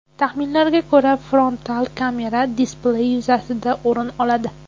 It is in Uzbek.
Taxminlarga ko‘ra, frontal kamera displey yuzasidan o‘rin oladi.